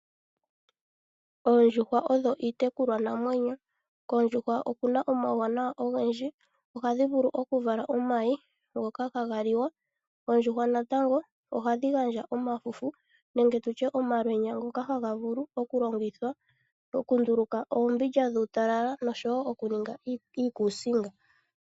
Oondjuhwa odho iitekulwanamwenyo. Koondjuhwa okuna omauwanawa ogendji ohadhi vulu okuvala omayi ngoka haga liwa. Oondjuhwa natango ohadhi gandja omafufu nenge tutye omalwenya ngoka haga vulu okulongithwa okunduluka oombindja dhuutalala noshowo okuninga iikuusinga.